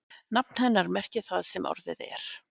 Nafn hennar merkir það sem orðið er.